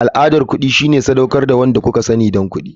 Al'adar kuɗi shine sadaukar da wanda kuka sani don kuɗi.